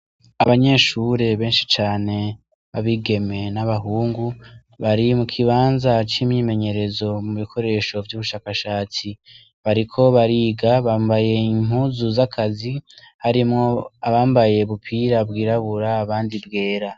Abanyeshure benshi cane ,abigeme n'abahungu, bari mukibanza c'imyimenyerezo mubikoresho vy'ubushakashatsi, bariko bariga bambaye impuzu z'akazi, harimwo abambaye ubupira bwirabura abandi bwera.